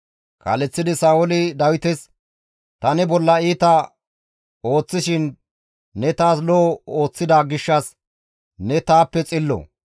Kaaleththidi Sa7ooli Dawites, «Ta ne bolla iita ooththishin ne taas lo7o ooththida gishshas ne taappe xillo.